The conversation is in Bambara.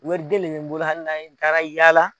Wariden de n bolo hali na n taara n yalala.